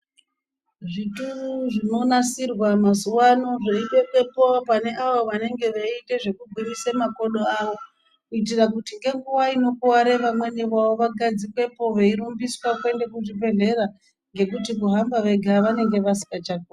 Zvituru zvinonasirwa mazuva anaya zvaibekwa pane avo vanenge veiita zvekugwinyisa makodo avo kuita kuti ngenguva inokuware vamwe vavo vagadzikwepo vairumbiswa kuenda kuzvibhedhleya ngekuti kuhamba vega vanenge vasingachakoni.